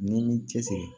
N'i m'i cɛsiri